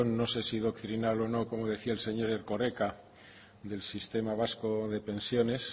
no sé si doctrinal o no como decía el señor erkoreka del sistema vasco de pensiones